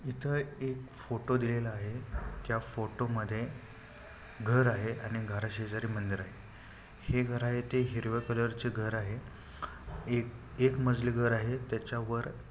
इथ एक फोटो दिलेला आहे. त्या फोटो मध्ये घर आहे आणि घरा शेजारी मंदिर आहे हे घर आहे ते हिरव्या कलर चे घर आहे एक एक मजली घर आहे. त्याच्यावर--